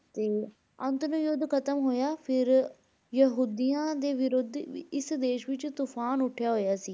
ਤੇ ਅੰਤ ਫਿਰ ਯੁੱਧ ਖ਼ਤਮ ਹੋਇਆ ਫਿਰ ਯਹੂਦੀਆਂ ਦੇ ਵਿਰੁੱਧ ਵੀ ਇਸ ਦੇਸ ਵਿੱਚ ਤੂਫ਼ਾਨ ਉੱਠਿਆ ਹੋਇਆ ਸੀ।